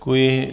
Děkuji.